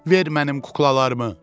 Ver mənim kuklalarımı!